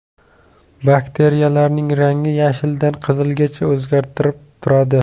Bakteriyalarning rangi yashildan qizilgacha o‘zgarib turadi.